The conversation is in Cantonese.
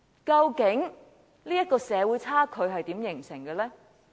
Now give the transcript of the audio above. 究竟這種社會差距是如何形成的呢？